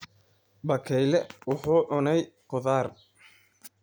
Bakayle wuxuu cunay khudaar.